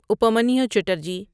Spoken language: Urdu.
اپامانیو چیٹرجی